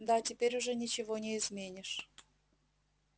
да теперь уже ничего не изменишь